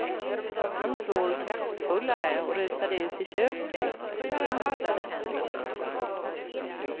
Han svor kraftfullare och rusade ut i köket, där han baddade händerna.